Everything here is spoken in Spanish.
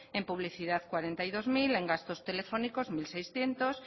en publicidad cuarenta y dos mil en gastos telefónicos mil seiscientos